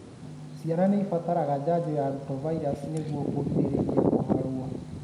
ciana nĩcibataraga janjo ya rotavirus nĩgũo kũgirĩriria kũharwo.